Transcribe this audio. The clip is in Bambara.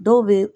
Dɔw bɛ